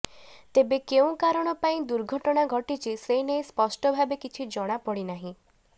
ତେବେ କେଉଁ କାରଣ ପାଇଁ ଦୁର୍ଘଟଣା ଘଟିଛି ସେ ନେଇଁ ସ୍ପଷ୍ଟ ଭାବେ କିଛି ଜଣାପଡ଼ିନାହିଁ